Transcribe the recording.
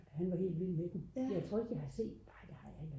han var helt vild med den jeg tror ikke jeg har set den nej det har jeg ikke